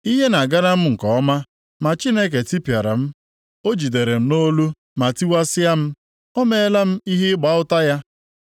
Ihe na-agara m nke ọma, ma Chineke tipịara m. O jidere m nʼolu ma tiwasịa m. O meela m ihe ịgba ụta ya;